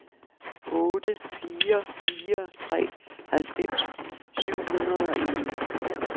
otte fire fire tre halvfems syv hundrede og en